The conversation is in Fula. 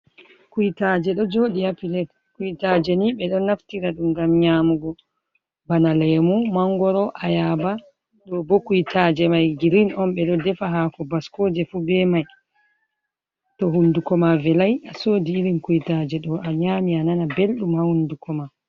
Kuitaje ɗo joɗi ha pilet. Kuitaje ni ɓe ɗon naftira ɗum ngam nyamugo. Ɓana lemu, mangoro, ayaba, ɗo bo kuitaje mai girin on, ɓe ɗo defa hako baskoje fu be mai. To hunduko ma velai a sodi irin kuitaje ɗo a nyami, a nana ɓelɗum ha hunduko ma.